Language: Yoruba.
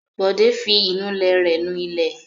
Bọ̀dé fi ìnulẹ̀ rẹ̀ nu ilẹ̀.